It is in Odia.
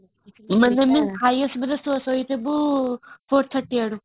ମାନେ ହାଇଆସିବାରୁ ଶୋଇଥିବୁ 4.30 ଆଡୁ